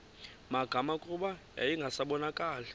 magama kuba yayingasabonakali